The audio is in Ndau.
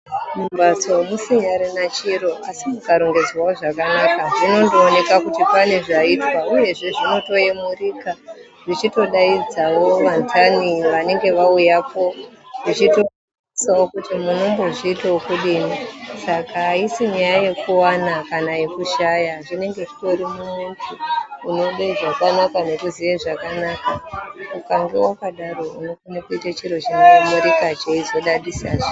Mumbatso musinyarina chiro asi mukarongedzawo zvakanaka zvinondoonekwa kuti pane zvaitwa uyezve zvinondotaurika zvichitodsidzawo vandani vanenge vauyako vachitotarisawo kuti munombozviitawo zvekudini Saka haisi nyaya yekuwana kana yekushaya zvinenge zviri mumuntu unoda zvakanaka ngekuziya zvakanaka ukange wakadaro Unokona kuita chiro chinankarika cheizotarisika zve.